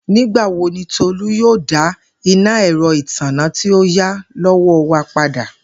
Nigbawo ni Tolu yoo da ina ẹrọ itanna ti o ya lowo wa pada?